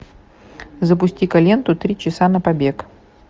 запусти ка ленту три часа на побег